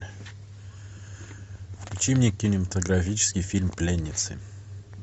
включи мне кинематографический фильм пленницы